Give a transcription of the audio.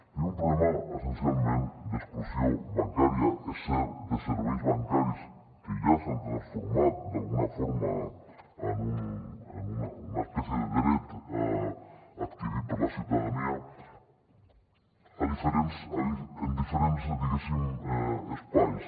tenim un problema essencialment d’exclusió bancària és cert de serveis bancaris que ja s’han transformat d’alguna forma en una espècie de dret adquirit per la ciutadania en diferents diguéssim espais